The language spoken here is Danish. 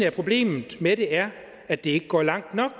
at problemet med det er at det ikke går langt nok